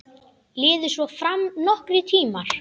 Liðu svo fram nokkrir tímar.